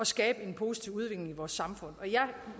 skabe en positiv udvikling i vores samfund jeg